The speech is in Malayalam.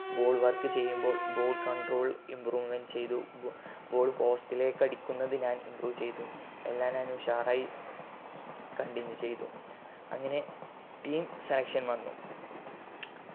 ball work ചെയ്യുമ്പോൾ ball controll improvement ചെയ്തു ball post ലേക് അടിക്കുന്നത് ഞാൻ improve ചെയ്തു എല്ലാം ഞാൻ ഉഷാറായി continue ചെയ്തു അങ്ങനെ team selection വന്നു